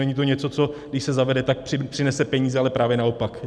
Není to něco, co když se zavede, tak přinese peníze, ale právě naopak.